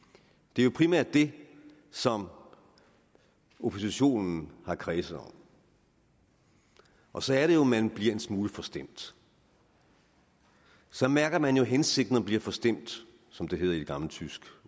det er jo primært det som oppositionen har kredset om og så er det jo at man bliver en smule forstemt så mærker man jo hensigten og bliver forstemt som det hedder i et gammelt tysk